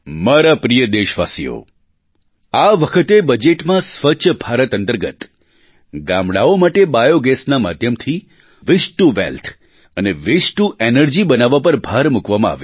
મારા પ્રિય દેશવાસીઓ આ વખતે બજેટમાં સ્વચ્છ ભારત અંતર્ગત ગામડાંઓ માટે બાયૉગેસના માધ્યમથી વસ્તે ટીઓ વેલ્થ અને વસ્તે ટીઓ એનર્જી બનાવવા પર ભાર મૂકવામાં આવ્યો